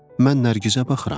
Mən Nərgizə baxıram.